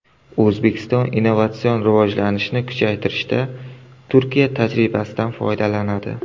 O‘zbekiston innovatsion rivojlanishni kuchaytirishda Turkiya tajribasidan foydalanadi.